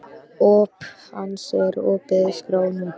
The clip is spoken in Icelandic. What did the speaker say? Óp hans er opin skárra nú.